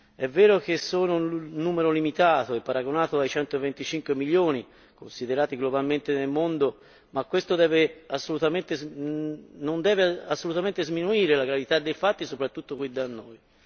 È vero che sono un numero limitato, se paragonato ai 125 milioni considerati globalmente nel mondo, ma questo non deve assolutamente sminuire la gravità dei fatti, soprattutto qui da noi.